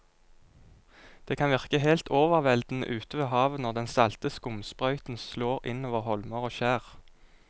Det kan virke helt overveldende ute ved havet når den salte skumsprøyten slår innover holmer og skjær.